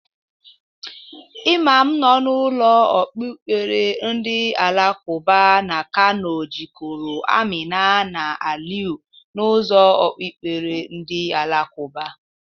Imam nọ na ụlọ okpukpere ndị alakụba n' Kano jịkọrọ Amina na Aliyu, n'ụzọ okpukpere ndị alakụba.